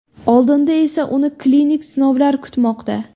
Oldinda esa uni klinik sinovlar kutmoqda.